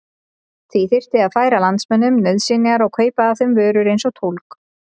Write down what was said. Því þyrfti að færa landsmönnum nauðsynjar og kaupa af þeim vörur eins og tólg.